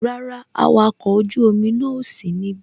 Rárá, awakọ̀ ojú omi náà ò sí ní ibí